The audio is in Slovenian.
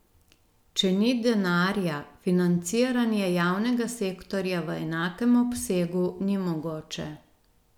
Če ni denarja, financiranje javnega sektorja v enakem obsegu ni mogoče.